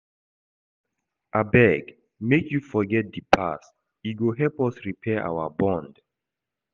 Abeg make you forget di past, e go help us repair our bond.